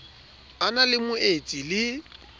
a na le moetsi le